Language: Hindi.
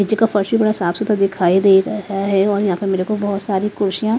नीचे का फर्श भी बड़ा साफ सुथरा दिखाई दे रहा है और यहां पर मेरेको बहुत सारी कुर्षियां।